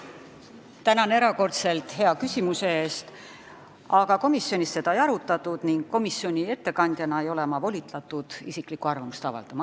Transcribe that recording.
Tänan erakordselt hea küsimuse eest, aga komisjonis seda ei arutatud ning komisjoni ettekandjana ei ole ma volitatud isiklikku arvamust avaldama.